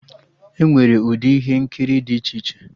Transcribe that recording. Enwere ụdị ihe nkiri dị iche iche